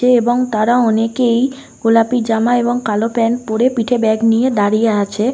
তে এবং তারা অনেকেই গোলাপী জামা এবং কালো প্যান্ট পরে পিঠে ব্যাগ নিয়ে দাঁড়িয়ে আছে।